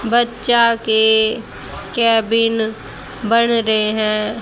बच्चा के केबिन बन रए हैं।